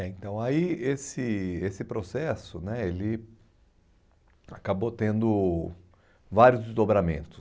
né então aí esse esse processo né ele acabou tendo vários desdobramentos.